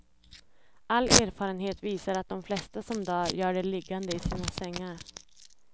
All erfarenhet visar att de flesta som dör gör det liggande i sina sängar.